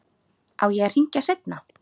Á ég að hringja seinna?